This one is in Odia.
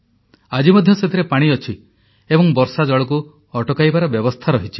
ଆଜି ମଧ୍ୟ ସେଥିରେ ପାଣି ଅଛି ଏବଂ ବର୍ଷାଜଳକୁ ଅଟକାଇବାର ବ୍ୟବସ୍ଥା ରହିଛି